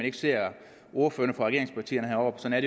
ikke ser ordførerne fra regeringspartierne heroppe men at